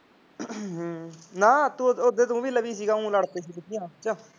ਹਾਂ ਨਾ ਤੂੰ ਲਵੀ ਸੀਗਾ ਉਂ ਲੜ ਪਏ ਸੀ ਮੈਂ ਕਿਹਾ